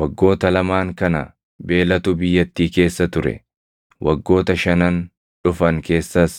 Waggoota lamaan kana beelatu biyyattii keessa ture; waggoota shanan dhufan keessas